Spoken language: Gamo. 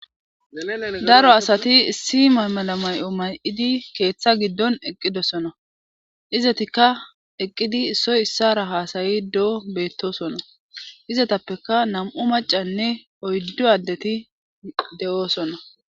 daro asati issi maymala may7o may7idi keeththa giddon eqqidosona izetikka eqqidi issoy issara haasayi do7o beettosona izetappeka nam7u macanne oyddo addeti de7oosona